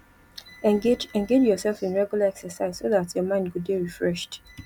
engage engage yourself in regular exercise so dat your mind go dey refreshed